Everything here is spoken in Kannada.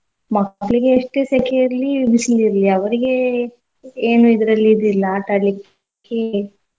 ಮಕ್ಳಿಗೆ ಎಸ್ಟೇ ಸೆಖೆ ಇರ್ಲಿ ಬಿಸ್ಲ್ ಇರ್ಲಿ ಅವ್ರಗೆ ಏನೂ ಇದ್ರಲ್ಲಿ ಇದು ಇಲ್ಲ ಆಟ ಆಡ್ಲಿಕ್ಕೆ.